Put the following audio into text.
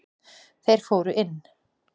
Þeir fóru inn.